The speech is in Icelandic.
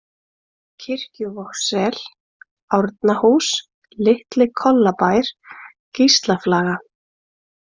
Kirkjuvogssel, Árnahús, Litli-Kollabær, Gíslaflaga